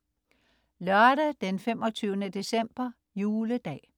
Lørdag den 25. december - Juledag